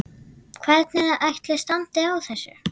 Hvernig ætli standi á þessu?